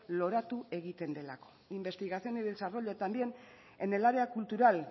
loratu egiten delako investigación y desarrollo también en el área cultural